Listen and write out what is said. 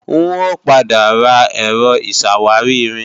N ò padà ra Ẹ̀rọ ìṣàwárí-irin